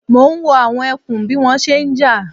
Mò ń wo àwọn ẹkùn bí wọ́n ṣe ń jà